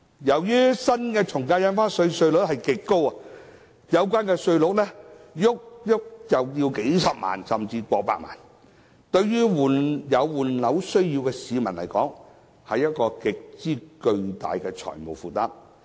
由於新的從價印花稅稅率極高，有關稅款動輒高達數十萬元甚至過百萬元，對於有換樓需要的市民來說，是極為巨大的財務負擔。